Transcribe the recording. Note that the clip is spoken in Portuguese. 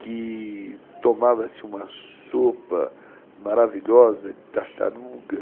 que tomava-se uma sopa maravilhosa de tartaruga.